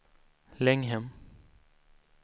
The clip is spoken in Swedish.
Länghem